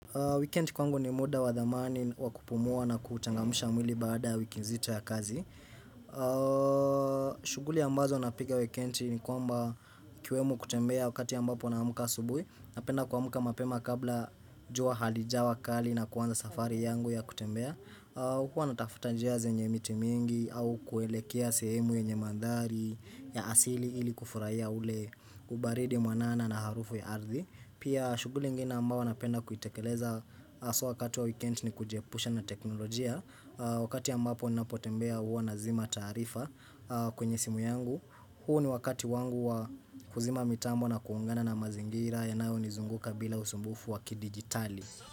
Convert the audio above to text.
Weekend kwangu ni muda wadhamani wakupumua na kutangamusha mwili baada wikinzito ya kazi. Shuguli ambazo napiga weekendi ni kwamba ikiwemo kutembea wakati ambapo naamka asubuhi Napenda kuamuka mapema kabla jua halijawa kali na kuanza safari yangu ya kutembea. Hukua natafuta njia zenye miti mingi au kuelekea sehemu yenye mandhari ya asili ili kufuraya ule ubaridi mwanana na harufu ya ardhi Pia shuguli ingine ambao napenda kuitekeleza haswa wakati wa weekend ni kujepusha na teknolojia. Wakati ambapo ni napotembea huwa nazima tarifa kwenye simu yangu. Huo ni wakati wangu wa kuzima mitambo na kuungana na mazingira yanayo ni zunguka bila usumbufu waki digitali.